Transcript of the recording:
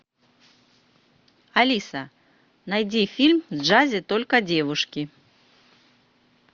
алиса найди фильм в джазе только девушки